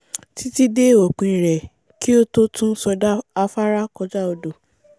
títí dé òpin rẹ̀ kí ó tó tún sọdá afárá kọjá odò